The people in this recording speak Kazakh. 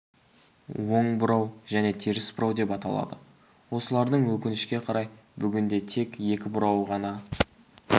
оң бұрау және теріс бұрау деп аталады осылардың өкінішке қарай бүгінде тек екі бұрауы ғана